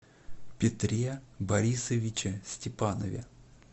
петре борисовиче степанове